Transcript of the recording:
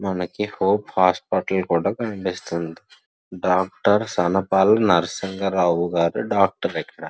మనకి hope hospital కూడా కనిపిస్తుంది డాక్టర్ సన్పాల్ నర్సింగరావు గారు డాక్టర్ ఇక్కడ.